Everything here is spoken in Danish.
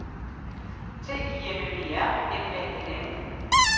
T I M M E R M A N N